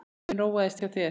Hugur minn róaðist hjá þér.